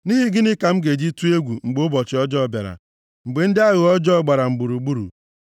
Nʼihi gịnị ka m ga-eji tụọ egwu mgbe ụbọchị ọjọọ bịara, mgbe ndị aghụghọ ọjọọ gbara m gburugburu,